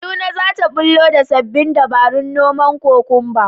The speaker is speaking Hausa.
Kaduna za ta ɓullo da sabbin dabarun noman kwakumba